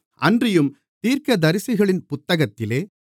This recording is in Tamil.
அன்றியும் தீர்க்கதரிசிகளின் புத்தகத்திலே